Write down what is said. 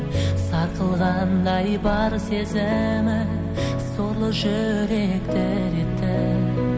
сарқылғандай бар сезімім сорлы жүрек дір етті